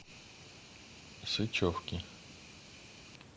сычевки